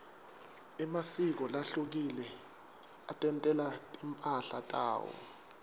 emasiko lahlukile atentela timphahla tawo